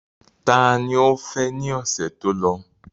Ta ni ó fẹ́ ní ọ̀sẹ̀ tó lọ?